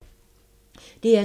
DR2